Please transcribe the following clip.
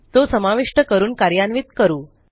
तो समाविष्ट करून कार्यान्वित करू